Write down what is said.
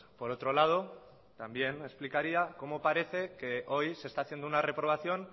por otro lado también explicaría como parece que hoy se está haciendo una reprobación